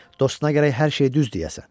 Dostuna gərək hər şeyi düz deyəsən.